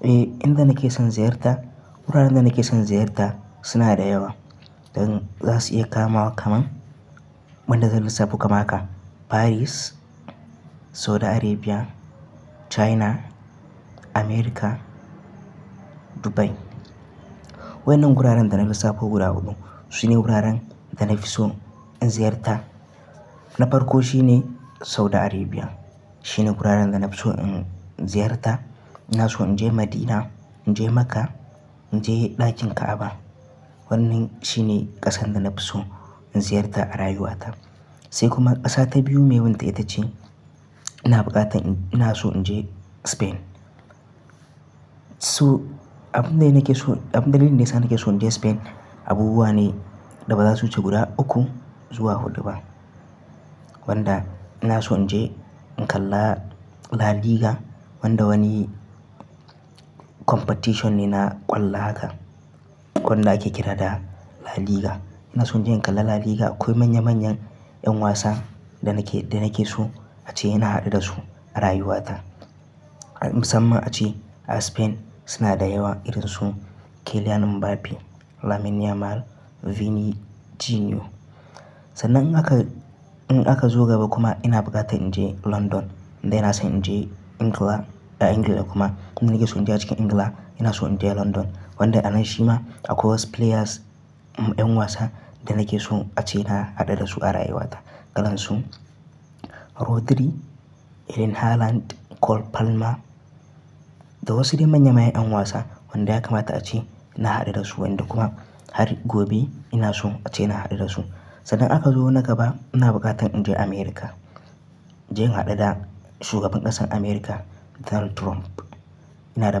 Eh, inda nake son ziyarta wuraren da nake son ziyarta suna da yawa don za su iya kama wa kaman wanda zan lissafo kaman haka Paris, Saudi Arabia, China, America, Dubai. Waɗannan wuraren da na lissafo guda huɗu sune wuraren da na fi so in ziyarta. Na farko shine Saudi Arabia. Shine wuraren da na fi so in ziyarta. Ina so in je Madina, in je Makka, in je ɗakin Ka'aba. Wannan shine ƙasan da na fi so in ziyarta a rayuwata. Sai kuma ƙasa ta biyu mai wunta ita ce ina buƙatan ina so in je Spain. Su abun da nake so, abun dalilin da ya sa nake so in je Spain abubuwa ne da ba za su wuce guda uku zuwa huɗu ba wanda ina son je in kalla La Liga wanda wani competition ne na ƙwallo haka wanda ake kira da La Liga. Ina son je in kalla La Liga akwai manya manyan ƴan wasa da nake, da nake so a ce ina haɗuwa da su a rayuwata. Musamman ace a Spain suna da yawa irin su Kylian Mbappe, Lamine Yamal, Vini Jr. Sannan in aka, in aka zo gaba kuma ina buƙatan in je London. Inda ina son in je Ingila a Ingila kuma kuma nake so in je a cikin Ingila ina so in je London wanda a nan shi ma akwai wasu players ƴan wasa da nake so a ce ina haɗuwa da su a rayuwata irin su Rodri, Erling Haaland, Cole Palmer. Da wasu dai manya manyan ƴan wasa wanda ya kamata a ce na haɗuwa da su wanda kuma har gobe ina so a ce ina haɗuwa da su. Sannan aka zo na gaba ina buƙatan in je America. In je in haɗuwa da shugaban ƙasar America Donald Trump. Ina da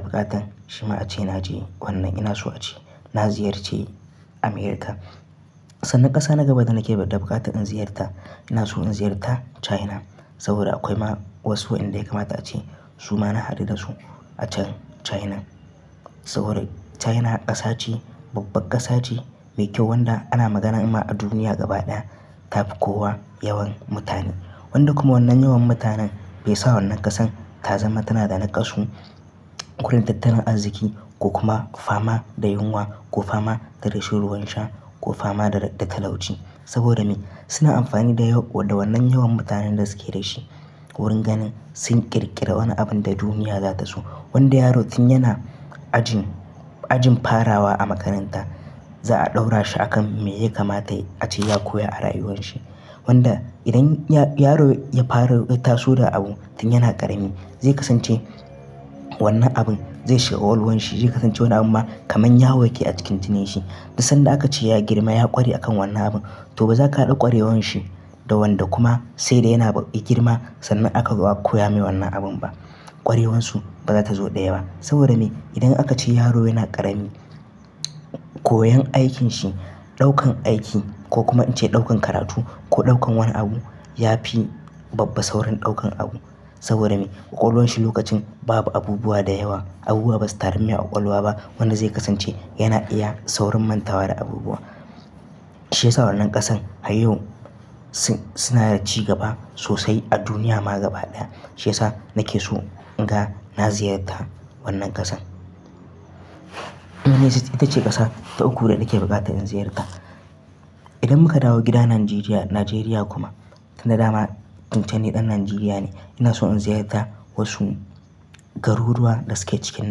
buƙatan shi ma a ce na je wannan ina so a ce na ziyarce Amurka. Sannan ƙasa na gaba da nake da buƙatan in ziyarta ina so in ziyarta China. Saboda akwai ma wasu inda ya kamata a ce su ma na haɗu da su a can China. Saboda China ƙasa ce babbar ƙasa ce mai kyau wanda ana magana ima a duniya gaba ɗaya ta fi kowa yawan mutane. Wanda kuma wannan yawan mutanen bai sa wannan ƙasar ta zama tana da naƙasu. Gun tattaran arziki ko kuma fama da yunwa ko fama da rashin ruwan sha ko fama da talauci. Saboda me? Suna amfani da wannan yawan mutanen da suke da shi wurin ganin sun ƙirƙiri wani abun da duniya za ta so. Wanda yaro tun yana ajin, ajin farawa a makaranta za'a ɗaura shi akan me yake kamata a ce ya koya a rayuwar shi. Wanda idan yaro ya fara tasowa da abu tun yana ƙarami zai kasance wannan abin zai shiga ƙwaƙwalwar shi zai kasance wannan abu kamar yaro yake a cikin jinin shi. Duk sanda aka ce ya girma ya ƙware a kan wannan abun to ba za ka haɗa ƙwarewar shi da wanda kuma sai da yana ba-- girma sannan aka zo a ka koya mai wannan abun ba. Ƙwarewar su ba za ta zo da yawa. Saboda me? Idan aka ce yaro yana ƙarami koyon aikin shi, ɗaukan aiki ko kuma ice ɗaukan karatu ko ɗaukan wani abu ya fi babba saurin ɗaukan abu. Saboda me? Ƙwaƙwalwan shi lokacin babu abubuwa da yawa abubuwa ba su tarun mai ƙwaƙwalwa ba. Wanda zai kasance yana iya saurin mantawa da abubuwa. Shi yasa wannan ƙasan har yau su, suna da ci gaba sosai a duniya ma gaba ɗaya. Shi yasa nake so in ga na ziyarta wannan ƙasan. In na jin ita ce ƙasa ta uku da nake buƙatan in ziyarta. Idan muka dawo gida Nigeria, Nigeria kuma tun dama tun can ni ɗan Nigeria ne ina so in ziyarta wasu garuruwa da suke cikin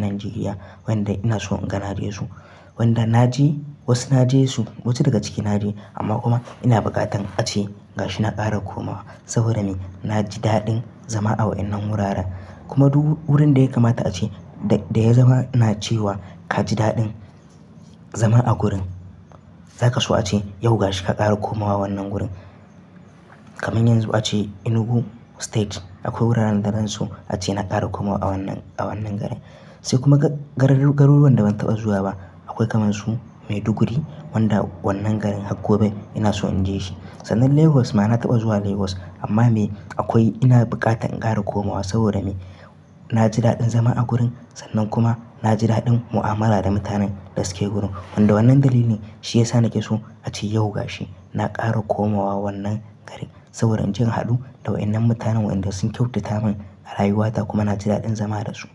Nigeria wanda ina so in ga naje su. Wanda na je wasu na je su wasu daga cikin na je amma kuma ina buƙatan a ce ga shi na ƙara komawa. Saboda me? Na ji daɗin zama a waɗannan wuraren kuma wurin da ya kamata a ce da ya zama ina ce wa ka ji daɗin zama a wurin zaka so a ce yau ga shi ka ƙara komawa wannan gurin. Kaman yanzu a ce Enugu state akwai wuraren da zan so a ce na ƙara komawa a wannan, a wannan garin. Sai kuma garuruwan da ban taɓa zuwa ba akwai kaman su Maiduguri wanda wannan garin har gobe ina so in je shi. Sannan Lagos ma na taɓa zuwa Lagos amma mai akwai ina buƙatan in ƙara komawa saboda me? Na ji daɗin zama a wurin sannan kuma na ji daɗin mu'amala da mutanen da suke wurin. Wanda wannan dalili ne shi ya sa nake so a ce yau ga shi na ƙara komawa wannan garin. Saboda in jin haɗu da waɗannan mutanen waɗanda sun kyautata min a rayuwata kuma na ji daɗin zama da su.